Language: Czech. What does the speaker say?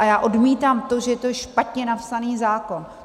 A já odmítám to, že je to špatně napsaný zákon.